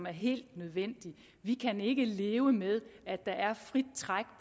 er helt nødvendigt vi kan ikke leve med at der er frit træk